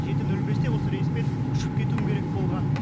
жеті нөл бесте осы рейспен ұшып кетуім керек болған